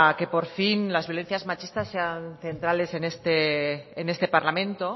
que por fin las violencias machistas sean centrales en este parlamento